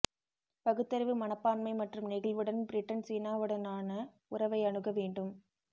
பகுத்தறிவு மனப்பான்மை மற்றும் நெகிழ்வுடன் பிரிட்டன் சீனாவுடனான உறவை அணுக வேண்டும்